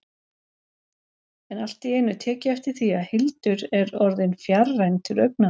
En allt í einu tek ég eftir því að Hildur er orðin fjarræn til augnanna.